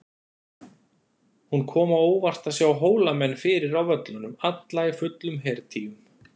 Honum kom á óvart að sjá Hólamenn fyrir á völlunum, alla í fullum hertygjum.